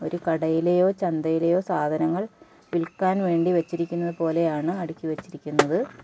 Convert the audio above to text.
ഒരു കടയിലെയോ ചന്തയിലെയോ സാധനങ്ങൾ വിൽക്കാൻ വേണ്ടി വച്ചിരിക്കുന്നത് പോലെയാണ് അടുക്കി വെച്ചിരിക്കുന്നത്.